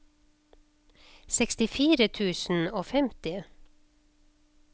sekstifire tusen og femti